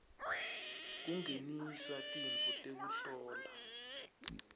kungenisa tintfo tekuhlola